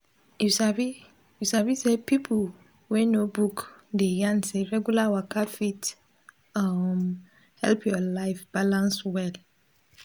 you sabi you sabi say pipo wey know book dey yarn say regular waka fit um help your life balance well.